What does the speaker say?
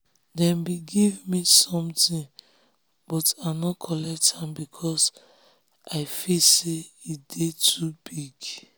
dem be give ma sometin but i um nor collect am becos i feel say um e dey too um big